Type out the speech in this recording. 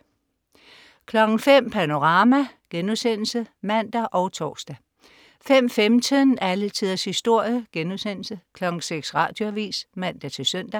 05.00 Panorama* (man og tors) 05.15 Alle tiders historie* 06.00 Radioavis (man-søn)